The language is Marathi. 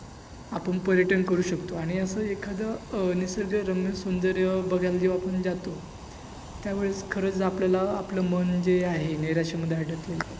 आपण पर्यटन करू शकतो. आणि अस एखाद अं निसर्ग रम्य सौदर्य बगायला जेव्हा आपण जोता, त्यावेळेस खरच आपल्याला आपलं मन जे आहे निराश मध्ये अटकलेलं